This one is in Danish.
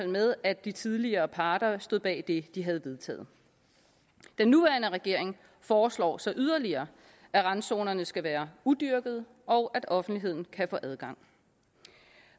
med at de tidligere parter stod bag det de havde vedtaget den nuværende regering foreslår så yderligere at randzonernene skal være udyrkede og at offentligheden kan få adgang